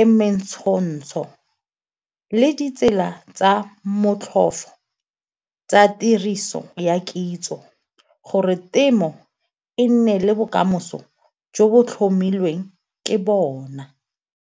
e mentshontsho le ditsela tsa motlhofo tsa tiriso ya kitso gore temo e nne le bokamoso jo bo tlhomilweng ke bona.